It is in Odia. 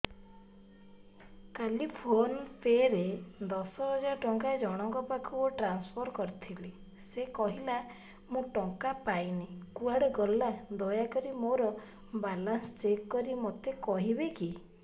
କାଲି ଫୋନ୍ ପେ ରେ ଦଶ ହଜାର ଟଙ୍କା ଜଣକ ପାଖକୁ ଟ୍ରାନ୍ସଫର୍ କରିଥିଲି ସେ କହିଲା ମୁଁ ଟଙ୍କା ପାଇନି କୁଆଡେ ଗଲା ଦୟାକରି ମୋର ବାଲାନ୍ସ ଚେକ୍ କରି ମୋତେ କହିବେ କି